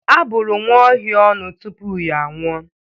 Abụrụ nwaohia ọnụ tupu ya anwụọ